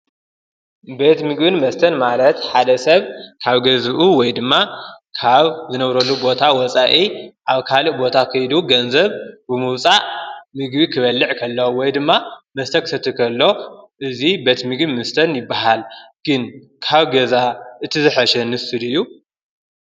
ቤት ምግብን መስተን ማለት ሓደ ሰብ ካብ ገዝኡ ወይ ድማ ካብ ዝነብረሉ ቦታ ወፃኢ ኣብ ካልእ ቦታ ኸይዱ ገንዘብ ብምውፃእ ምግቢ ክበልዕ ከሎ ወይ ድማ መስተ ክሰቲ ከሎ እዙይ ቤት ምግብን መስተን ይበሃል፡፡ ግን ካብ ገዛ እቲ ዝሐሸ ንሱ ድዩ?